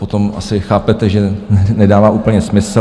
Potom asi chápete, že nedává úplně smysl...